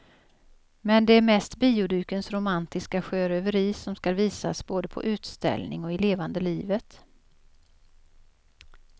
Men det är mest biodukens romantiska sjöröveri som skall visas både på utställning och i levande livet.